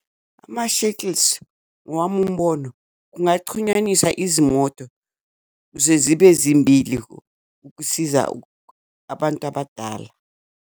Ama-shuttles, ngowami umbono kungacunywaniswa izimoto kuze zibe zimbili ukusiza abantu abadala.